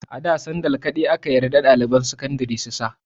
A da sandal kawai ake yarda ɗaliban sakandari su sa.